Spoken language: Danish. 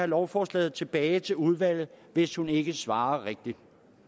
lovforslaget tilbage til udvalget hvis hun ikke svarer rigtigt